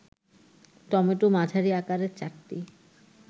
tomato মাঝারি আকারের ৪টি